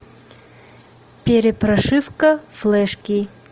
перепрошивка флешки